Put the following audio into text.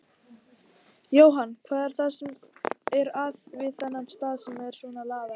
Jóhann: Hvað er það sem að er við þennan stað sem að svona laðar að?